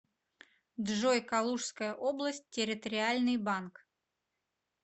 джой калужская область территориальный банк